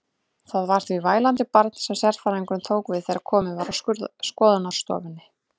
Það var því vælandi barn sem sérfræðingurinn tók við þegar komið var að skoðunarstofunni.